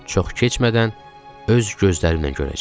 Çox keçmədən öz gözlərimlə görəcəkdim.